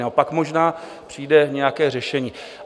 Pak možná přijde nějaké řešení.